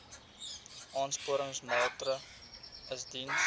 aansporingsmaatre ls diens